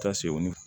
Taa segu ni